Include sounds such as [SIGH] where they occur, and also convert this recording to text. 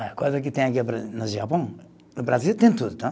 Olha, coisa que tem aqui [UNINTELLIGIBLE] no Japão, no Brasil tem tudo, tá?